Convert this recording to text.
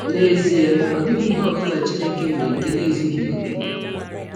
N’ezie, ọ dịghị ihe ọ bụla Chineke mere nke na - ezụghị ọkè.